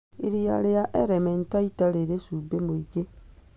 Iria rĩa Elementaita rĩrĩ cumbĩ mũingĩ